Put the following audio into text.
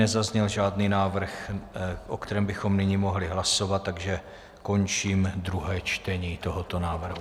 Nezazněl žádný návrh, o kterém bychom nyní mohli hlasovat, takže končím druhé čtení tohoto návrhu.